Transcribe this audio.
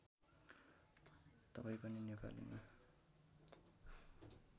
तपाईँ पनि नेपालीमा